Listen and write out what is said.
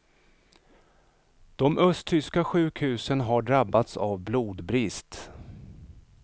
De östtyska sjukhusen har drabbats av blodbrist.